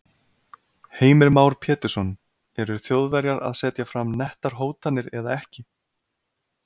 Heimir Már Pétursson: Eru Þjóðverjar að setja fram nettar hótanir eða ekki?